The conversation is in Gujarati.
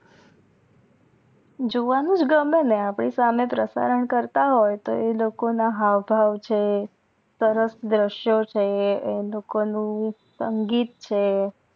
જોવાનુજ ગમે ને અપડી સહમે પ્રસારણ કરતાં હોય એ લોકો ના હવ ભાવ છે સરસ ધ્રાસયા છે એ લોકો નું સંગીત છે